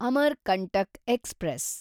Amarkantak express